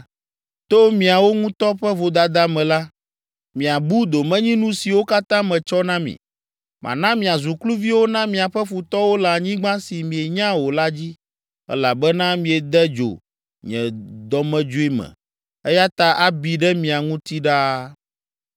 To miawo ŋutɔ ƒe vodada me la, miabu domenyinu siwo katã metsɔ na mi. Mana miazu kluviwo na miaƒe futɔwo le anyigba si mienya o la dzi elabena miede dzo nye dɔmedzoe me eya ta abi ɖe mia ŋuti ɖaa.”